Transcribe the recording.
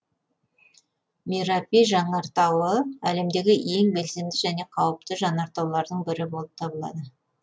мерапи жанартауы әлемдегі ең белсенді және қауіпті жанартаулардың бірі болып табылады